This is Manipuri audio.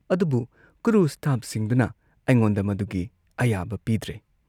ꯑꯗꯨꯕꯨ ꯀ꯭ꯔꯨ ꯁ꯭ꯇꯥꯐꯁꯤꯡꯗꯨꯅ ꯑꯩꯉꯣꯟꯗ ꯃꯗꯨꯒꯤ ꯑꯌꯥꯕ ꯄꯤꯗ꯭ꯔꯦ꯫